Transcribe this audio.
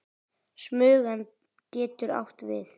Smugan getur átt við